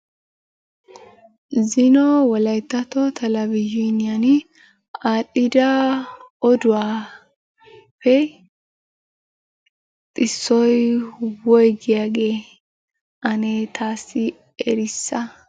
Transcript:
Zino wolayittatto telebizhiniyani aadhdhida oduwappe issoy woyigiyagee? Ane taassi erissa.